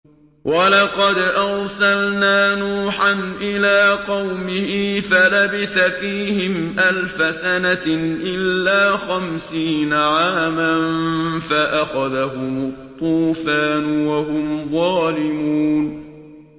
وَلَقَدْ أَرْسَلْنَا نُوحًا إِلَىٰ قَوْمِهِ فَلَبِثَ فِيهِمْ أَلْفَ سَنَةٍ إِلَّا خَمْسِينَ عَامًا فَأَخَذَهُمُ الطُّوفَانُ وَهُمْ ظَالِمُونَ